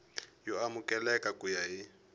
yo amukeleka ku ya hi